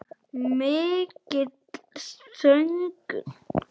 Mikill söngur.